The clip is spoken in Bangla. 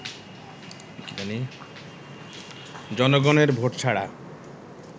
জনগণের ভোট ছাড়া